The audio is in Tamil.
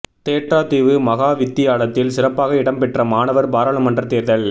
தேற்றாத்தீவு மகா வித்தியாலயத்தில் சிறப்பாக இடம் பெற்ற மாணவர் பாராளுமன்ற தேர்தல்